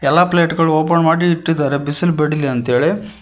ಎಲ್ಲಾ ಪ್ಲೇಟ್ ಗಳು ಓಪನ್ ಮಾಡಿ ಇಟ್ಟಿದ್ದಾರೆ ಬಿಸಿಲು ಬಡಿಲಿ ಅಂತ ಹೇಳಿ--